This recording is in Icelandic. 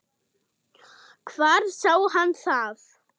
Hvar sá hann það?